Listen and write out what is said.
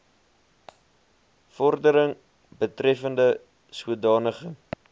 vordering betreffende sodanige